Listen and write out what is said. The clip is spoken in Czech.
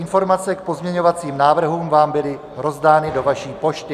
Informace k pozměňovacím návrhům vám byly rozdány do vaší pošty.